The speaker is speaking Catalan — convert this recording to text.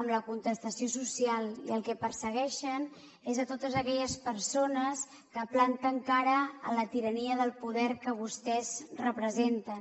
amb la contestació social i el que persegueixen és a totes aquelles persones que planten cara a la tirania del poder que vostès representen